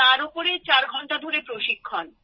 তার ওপর চার ঘণ্টা ধরে প্রশিক্ষণ